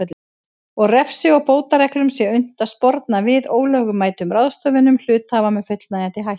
og refsi og bótareglum sé unnt að sporna við ólögmætum ráðstöfunum hluthafa með fullnægjandi hætti.